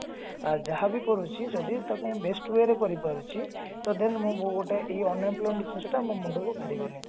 ଯାହାବି କରୁଛି ଯଦି ଟାକୁ best way ରେ କରି ପାରୁଛି ତ then ମୁଁ ଗୋଟେ ଏଇ unemployment ଜିନିଷ ଟା ମୋ ମୁଣ୍ଡକୁ ଧରିବନି